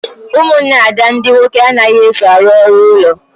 Ụmụnne Ada ndị nwoke anaghị eso arụ ọrụ ụlọ